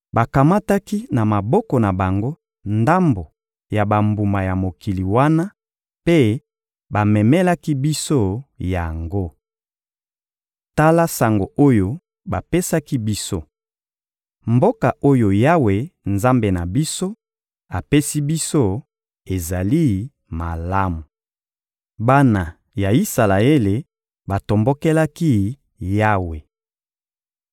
Bakamataki na maboko na bango ndambo ya bambuma ya mokili wana mpe bamemelaki biso yango. Tala sango oyo bapesaki biso: «Mboka oyo Yawe, Nzambe na biso, apesi biso ezali malamu.» Bana ya Isalaele batombokelaki Yawe